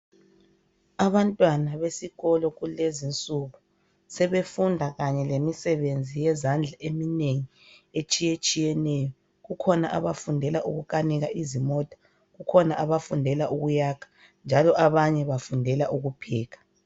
Abantwana besikolo kulezinsuku sebefunda kanye lemisebenzi yezandla eminengi etshiyetshiyeneyo kukhona abafundela ukukanika izimota kukhona abafundela ukuyakha njalo abanye bafundela ukubhekha